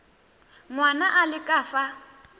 ngwana a le ka fa